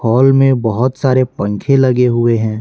Hall में बहुत सारे पंखे लगे हुए हैं।